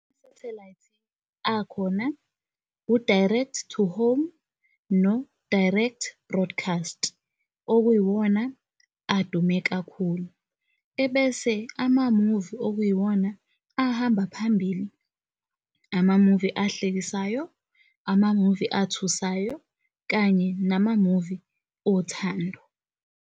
Sathelayithi akhona i-direct to home no-direct broadcast, okuyiwona adume kakhulu. Ebese amamuvi okuyiwona ahamba phambili, amamuvi ahlekisayo, amamuvi athusayo kanye namamuvi othando.